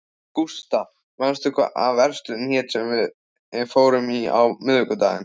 Gustav, manstu hvað verslunin hét sem við fórum í á miðvikudaginn?